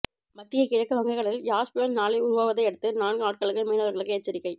மத்திய கிழக்கு வங்க கடலில் யாஷ் புயல் நாளை உருவாவதையடுத்து நான்கு நாட்களுக்கு மீனவர்களுக்கு எச்சரிக்கை